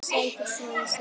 Sækir svo í sig veðrið.